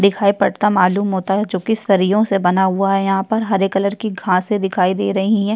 दिखाई पड़ता मालूम होता है जोकि सरियों से बना हुआ है। यहाँ पर हरे कलर की घासें दिखाई दे रहीं हैं।